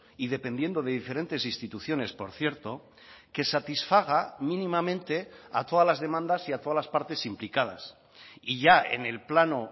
y dependiendo de diferentes instituciones por cierto que satisfaga mínimamente a todas las demandas y a todas las partes implicadas y ya en el plano